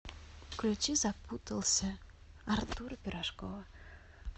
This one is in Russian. включи запутался артура пирожкова